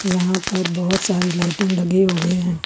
यहां पर बहुत सारी लाइटिंग लगे हुए हैं।